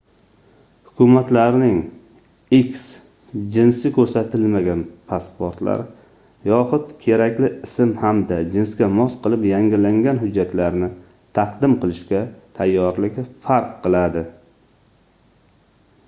hukumatlarning x jinsi ko'rsatilmagan pasportlar yoxud kerakli ism hamda jinsga mos qilib yangilangan hujjatlarni taqdim qilishga tayyorligi farq qiladi